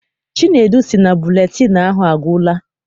Chinedu sị na buletịịnụ ahụ agwụla.